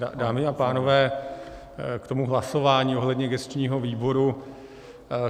Dámy a pánové, k tomu hlasování ohledně gesčního výboru.